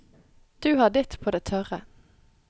Du har ditt på det tørre.